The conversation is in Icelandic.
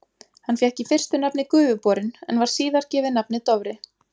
Hann fékk í fyrstu nafnið Gufuborinn, en var síðar gefið nafnið Dofri.